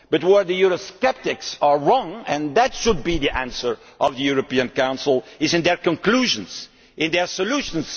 But where the Eurosceptics are wrong and that should be the answer of the European Council is in their conclusions, their solutions.